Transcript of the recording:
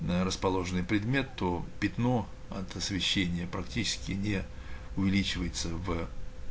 ээ расположенный предмет то пятно от освещения практически не увеличивается в ээ